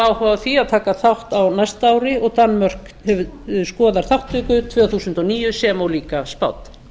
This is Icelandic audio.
áhuga á því að taka þátt á næsta ári og danmörk skoðar þátttöku tvö þúsund og níu sem og líka spánn